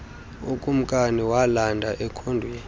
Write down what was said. ukumkani walanda ekhondweni